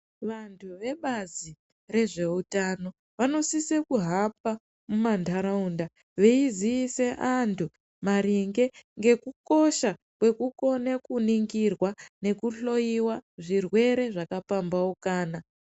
Vantu vebazi rezveutano vanosise kuhamba muma ntaraunda veiziise vantu maringe ngekukosha kwekukone kuningirwa neku hloyiwe zvirwere zvaka pambaukana .